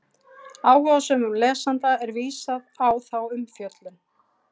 Áhugasömum lesanda er vísað á þá umfjöllun.